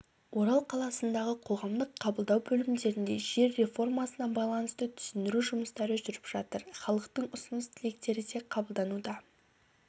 орал қаласындағы қоғамдық қабылдау бөлімдерінде жер реформасына байланысты түсіндіру жұмыстары жүріп жатыр халықтың ұсыныс-тілектері де қабылдануда